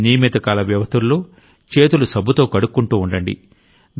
నియమిత కాల వ్యవధుల్లో చేతులు సబ్బుతో కడుక్కుంటూ ఉండండి